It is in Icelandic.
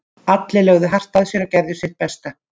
Allir lögðu hart að sér og gerðu sitt besta.